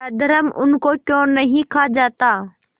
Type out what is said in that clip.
अधर्म उनको क्यों नहीं खा जाता